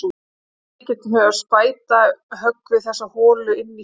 Að öllum líkindum hefur spæta höggvið þessa holu inn í furutréð.